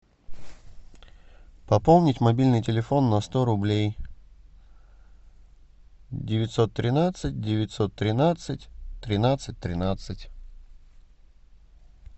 пополнить мобильный телефон на сто рублей девятьсот тринадцать девятьсот тринадцать тринадцать тринадцать